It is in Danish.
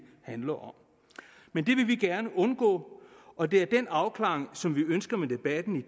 handler om men det vil vi gerne undgå og det er den afklaring som vi ønsker med debatten